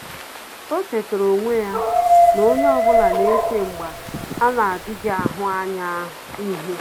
Ọ́ chètàrà onwe ya na onye ọ bụla nà-échè mgbà a nà-ádị́ghị́ áhụ́ ányá ihu.